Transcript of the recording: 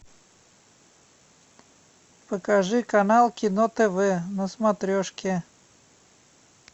покажи канал кино тв на смотрешке